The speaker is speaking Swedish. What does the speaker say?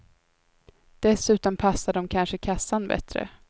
Dessutom passar de kanske kassan bättre.